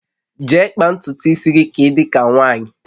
Je kpaa ntutu isi gị ka ị dị ka nwaanyị!